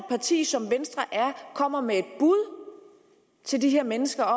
parti som venstre kommer med et bud til de her mennesker